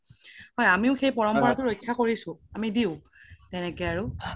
আমিও সেই পৰম্পাৰাতো ৰক্শ্যা কৰিছো আমি দিও তেনেকে আৰু